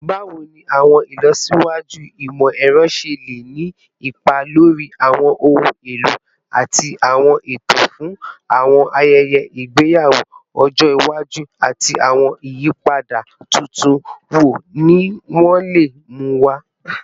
Bawo ni awọn ilọsiwaju imọ-ẹrọ ṣe le ni ipa lori awọn ohun elo ati awọn eto fun awọn ayẹyẹ igbeyawo ọjọ iwaju, ati awọn iyipada tuntun wo ni wọn le mu wa?